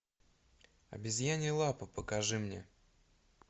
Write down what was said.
обезьянья лапа покажи мне